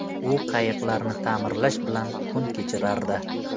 U qayiqlarni ta’mirlash bilan kun kechirardi.